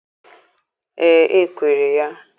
Ee, e kwere ya.